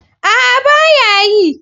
A'a baya yi.